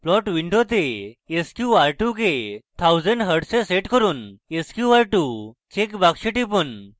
plot window sqr2 কে 1000 hz এ set করুন sqr2 check box টিপুন